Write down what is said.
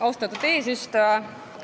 Austatud eesistuja!